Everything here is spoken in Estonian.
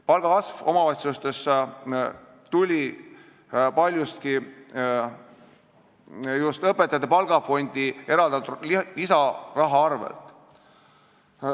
Palgakasv omavalitsustes tuli paljuski just tänu õpetajate palgafondi eraldatud lisarahale.